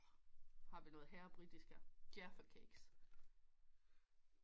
Har vi noget herr britiske hevva cakes